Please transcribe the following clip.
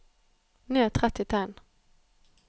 Ned tretti tegn